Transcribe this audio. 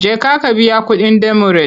Jeka ka biya kuɗin demurej!